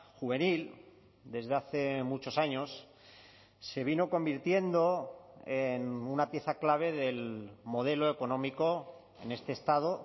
juvenil desde hace muchos años se vino convirtiendo en una pieza clave del modelo económico en este estado